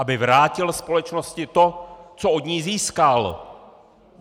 Aby vrátil společnosti to, co od ní získal!